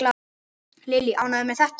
Lillý: Ánægður með þetta?